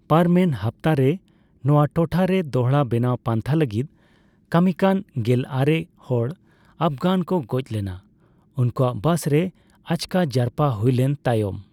ᱯᱟᱨᱚᱢᱮᱱ ᱦᱟᱯᱛᱟ ᱨᱮ, ᱱᱚᱣᱟ ᱴᱚᱴᱷᱟ ᱨᱮ ᱫᱚᱲᱦᱟ ᱵᱮᱱᱟᱣ ᱯᱟᱱᱛᱷᱟ ᱞᱟᱹᱜᱤᱫ ᱠᱟᱹᱢᱤ ᱠᱟᱱ ᱜᱮᱞᱟᱨᱮ ᱦᱟᱚᱲ ᱟᱯᱷᱜᱟᱱ ᱠᱚ ᱜᱚᱡ ᱞᱮᱱᱟ, ᱩᱱᱠᱩᱣᱟᱜ ᱵᱟᱥ ᱨᱮ ᱟᱪᱠᱟ ᱡᱟᱨᱯᱟ ᱦᱩᱭ ᱞᱮᱱ ᱛᱟᱭᱚᱢ ᱾